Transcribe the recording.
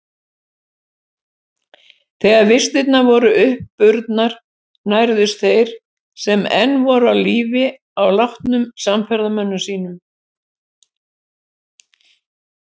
Þegar vistirnar voru uppurnar nærðust þeir sem enn voru á lífi á látnum samferðamönnum sínum.